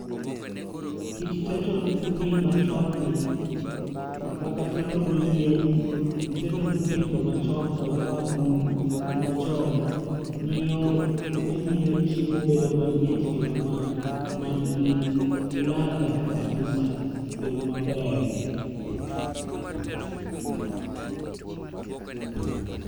kit teto ni machon ni kaka, teto gi yien, gi teto gi kendo machon kod agulu machon, miyo ne miyo chiemo bedo mamit kendo man gi ladha kabisa kendo maber